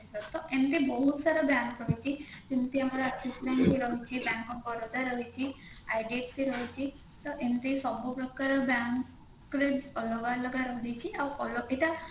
ଏମିତି ବହୁତ ସାରା bank ରହୁଛି ଯେମତି ଆମର axis bank ରେ ରହୁଛି bank of Baroda ରହିଛି IDFC ରହିଛି ତ ଏମତି ସବୁ ପ୍ରକାରର bank ରେ ଅଲଗା ରହିଛି ଆଉ ଏଇଟା